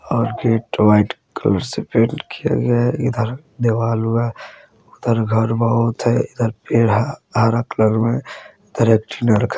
और gate white colour से paint किया गया है इधार दीवाल व उधर घर बहुत हेय इधर पेड़ हेय हरा कलर में --